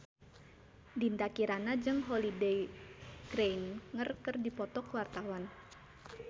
Dinda Kirana jeung Holliday Grainger keur dipoto ku wartawan